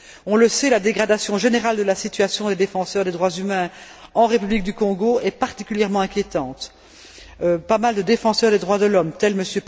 On le sait, la dégradation générale de la situation des défenseurs des droits humains en République du Congo est particulièrement inquiétante. Les affaires concernant nombre de défenseurs des droits de l'homme, dont M.